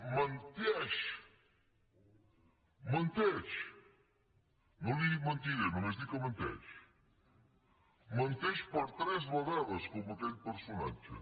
menteix menteix no li he dit mentider només dic que menteix menteix per tres vegades com aquell personatge